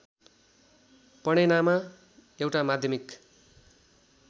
पणेनामा एउटा माध्यमिक